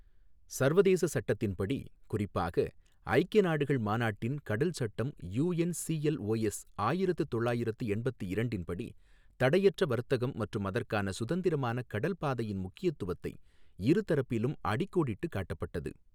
சர்வதேச சட்டத்தின்படி, குறிப்பாக, ஐக்கிய நாடுகள் மாநாட்டின் கடல் சட்டம் யுஎன்சிஎல்ஓஎஸ் ஆயிரத்து தொள்ளாயிரத்து எண்பத்து இரண்டின்படி, தடையற்ற வர்த்தகம் மற்றும் அதற்கான சுதந்திரமான கடல் பாதையின் முக்கியத்துவத்தை இரு தரப்பிலும் அடிக்கோடிட்டு காட்டப்பட்டது.